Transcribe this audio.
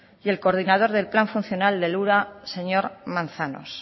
y el coordinador del plan funcional del hua señor manzanos